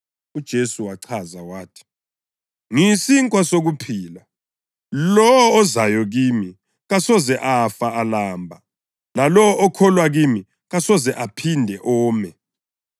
UJesu wachaza wathi, “Ngiyisinkwa sokuphila. Lowo ozayo kimi kasoze afa alamba, lalowo okholwa kimi kasoze aphinde ome.